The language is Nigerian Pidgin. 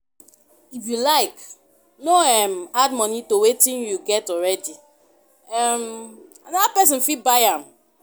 If you like no um add money to wetin you get already um another person fit buy am